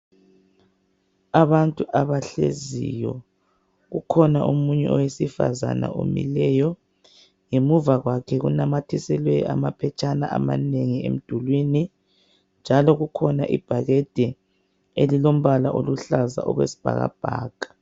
Abantu abahleziyo, kukhona omunye owesifazane omileyo. Ngemuva kwakhe kunamathiselwe amaphetshana amanengi emdulwini. Njalo kukhona ibhakede elilombala oluhlaza okwesibhakabhaka.